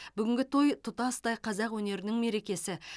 бүгінгі той тұтастай қазақ өнерінің мерекесі